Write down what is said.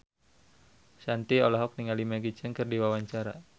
Shanti olohok ningali Maggie Cheung keur diwawancara